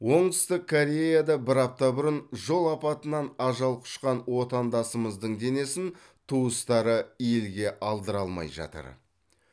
оңтүстік кореяда бір апта бұрын жол апатынан ажал құшқан отандасымыздың денесін туыстары елге алдыра алмай жатыр